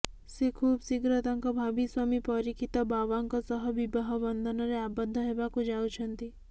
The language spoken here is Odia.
ସେ ଖୁବ୍ଶୀଘ୍ର ତାଙ୍କ ଭାବି ସ୍ୱାମୀ ପରିକ୍ଷିତ ବାଓ୍ବାଙ୍କ ସହ ବିବାହ ବନ୍ଧନରେ ଆବଦ୍ଧ ହେବାକୁ ଯାଉଛନ୍ତି